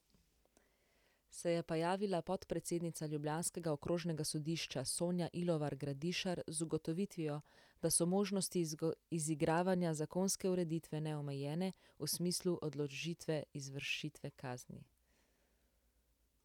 Se je pa javila podpredsednica ljubljanskega okrožnega sodišča Sonja Ilovar Gradišar z ugotovitvijo, da so možnosti izigravanja zakonske ureditve neomejene, v smislu odložitve izvršitve kazni.